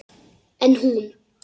En hún.